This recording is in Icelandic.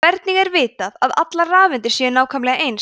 hvernig er vitað að allar rafeindir séu nákvæmlega eins